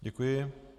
Děkuji.